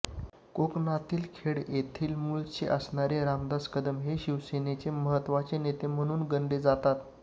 कोकणातील खेड येथील मुळचे असणारे रामदास कदम हे शिवसेनेचे महत्वाचे नेते म्हणून गणले जातात